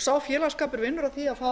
sá félagsskapur vinnur að því að fá